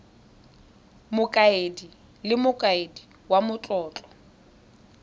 mokaedi le mokaedi wa matlotlo